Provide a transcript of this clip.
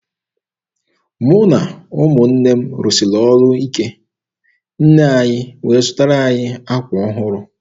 Mụ na ụmụnne m rụsiri ọrụ ike, nne anyị wee zụtara anyị akwa ọhụrụ.